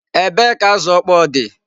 Ebee ka azụ ọkpọọ dị?